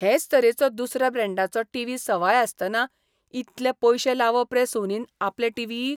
हेच तरेचो दुसऱ्या ब्रँडाचो टीव्ही सवाय आसतना इतले पयशे लावप रे सोनीन आपले टीव्हीक!